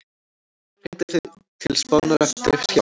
Hringdi til Spánar eftir hjálp